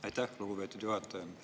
Aitäh, lugupeetud juhataja!